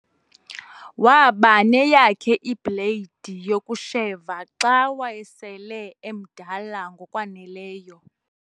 waba neyakhe ibhleyidi yokusheva xa wayesele emdala ngokwaneleyo